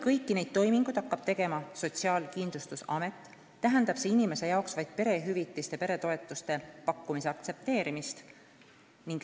Kõiki neid toiminguid hakkab tegema Sotsiaalkindlustusamet ning see tähendab inimese jaoks vaid perehüvitiste, peretoetuste pakkumise aktsepteerimist.